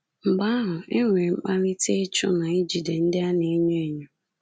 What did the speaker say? Mgbe ahu enwere kpalite ịchụ na ijide ndị a na-enye enyo